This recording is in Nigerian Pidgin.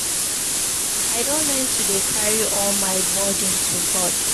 I don learn to dey carry all my burden to God.